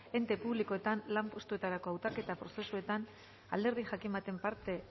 ente publikoetan lan postuetarako hautaketa prozesuetan alderdi jakin baten parte